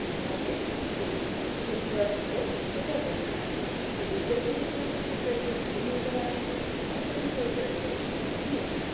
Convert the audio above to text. इन्होंने कोई ये रथ को पकड़ रखा है। दूर देखने पर हमें कई घर भी नजर आ रहे हैं। आसपास हमें कई बड़े-बड़े पेड़ भी नजर आ--।